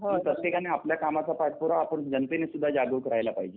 प्रत्येकानं आपल्या कामाचा पाठपुरावा आपण जनतेनं सुद्धा जागृत करायला पाहिजे.